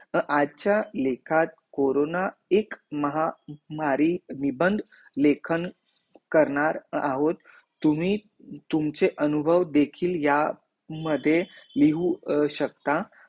आजच्या लेखात कोरोना एक महामारी निबंध लेखन करणार आहुत तुमी तुमचे अनुभव देखील या मध्ये लिहू सकता